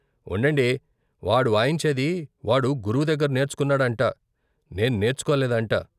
ఉండండి వాడు వాయించేది వాడు గురువు దగ్గర నేర్చుకొన్నాడంట, నేను నేర్చుకోలేదంట.